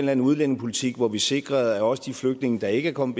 eller anden udlændingepolitik hvor vi sikrede at også de flygtninge der ikke er kommet